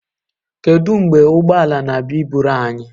Kedu mgbe ụgbọ ala na-abịa iburu anyị?